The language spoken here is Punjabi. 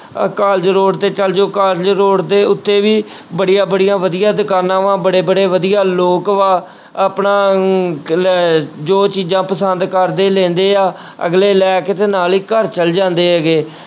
ਅਹ college road ਤੇ ਚਲੇ ਜਾਓ college road ਦੇ ਉੱਤੇ ਵੀ ਬੜੀਆ ਬੜੀਆ ਵਧੀਆ ਦੁਕਾਨਾਂ ਵਾਂ ਬੜੇ ਬੜੇ ਵਧੀਆ ਲੋਕ ਵਾ ਆਪਣਾ ਅਮ ਲੈ ਜੋ ਚੀਜ਼ਾਂ ਪਸੰਦ ਕਰਦੇ ਲੈਂਦੇ ਆ ਅਗਲੇ ਲੈ ਕੇ ਤੇ ਨਾਲ ਹੀ ਘਰ ਚਲੇ ਜਾਂਦੇ ਹੈਗੇ।